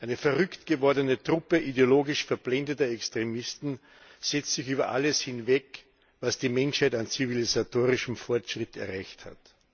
Eine verrücktgewordene Truppe ideologisch verblendeter Extremisten setzt sich über alles hinweg, was die Menschheit an zivilisatorischem Fortschritt erreicht hat.